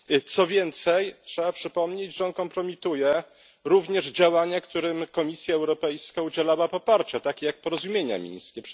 Co więcej, trzeba przypomnieć, że kompromituje on również działania, którym Komisja Europejska udzielała poparcia, takie jak porozumienia mińskie.